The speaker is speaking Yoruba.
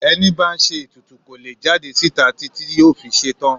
Ẹni bá ń ṣe ètùtù kò lè jáde síta títí yóò fi ṣetán.